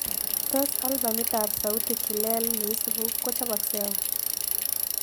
Tos' albamitap sauti kilel ne isibu ko choboksei au